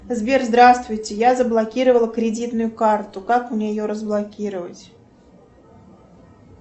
сбер здравствуйте я заблокировала кредитную карту как мне ее разблокировать